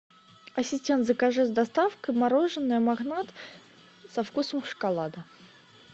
ассистент закажи с доставкой мороженое магнат со вкусом шоколада